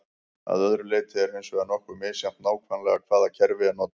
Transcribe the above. að öðru leyti er hins vegar nokkuð misjafnt nákvæmlega hvaða kerfi er notað